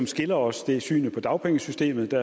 skiller os er synet på dagpengesystemet hvor